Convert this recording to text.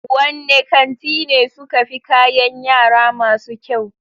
Wanne kanti ne suke fi kayan yara masu kyau?